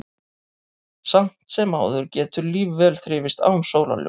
Samt sem áður getur líf vel þrifist án sólarljóss.